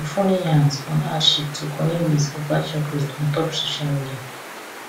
funny yarns on hardship to cunny ways of catching cruise on top social media